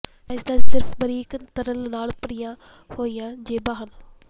cysts ਸਿਰਫ਼ ਬਰੀਕ ਤਰਲ ਨਾਲ ਭਰੀਆਂ ਹੋਈਆਂ ਜੇਬਾਂ ਹਨ